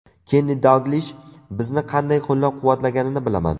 Kenni Dalglish bizni qanday qo‘llab-quvvatlaganini bilaman.